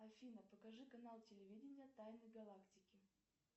афина покажи канал телевидения тайны галактики